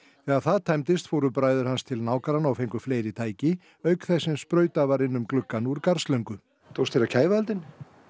þegar það tæmdist fóru bræður hans til nágranna og fengu fleiri tæki auk þess sem sprautað var inn um gluggann úr garðslöngu tókst þér að kæfa eldinn